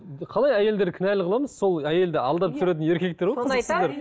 қалай әйелдерді кінәлі қыламыз сол әйелді алдап түсіретін еркектер ғой